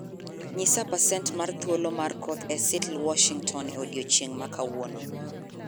nyisa pasent mar thuolo mar koth e seattle Washington e odiechieng' ma kawuono